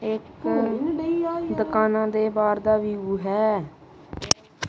ਇਕ ਦੁਕਾਨਾਂ ਦੇ ਬਾਰ ਦਾ ਵਿਊ ਹੈ।